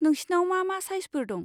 नोंसिनाव मा मा साइजफोर दं?